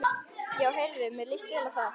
Já heyrðu, mér líst vel á það!